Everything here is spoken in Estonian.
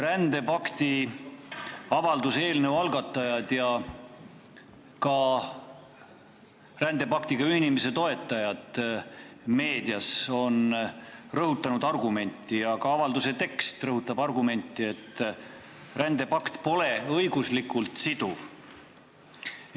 Rändepakti avalduse eelnõu algatajad ja ka rändepaktiga ühinemise toetajad meedias on rõhutanud argumenti – ja ka avalduse tekst rõhutab seda argumenti –, et see pakt pole õiguslikult siduv.